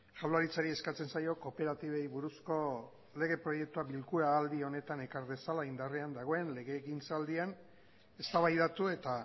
jaurlaritzari eskatzen zaio kooperatibei buruzko lege proiektua bilkura aldi honetan ekar dezala indarrean dagoen legegintzaldian eztabaidatu eta